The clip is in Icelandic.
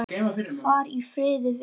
Far í friði, vinur minn.